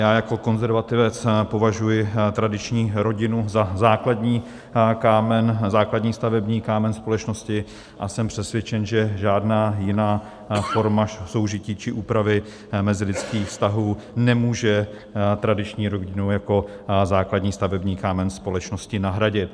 Já jako konzervativec považuji tradiční rodinu za základní kámen, základní stavební kámen společnosti, a jsem přesvědčen, že žádná jiná forma soužití či úpravy mezilidských vztahů nemůže tradiční rodinu jako základní stavební kámen společnosti nahradit.